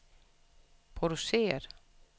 produceret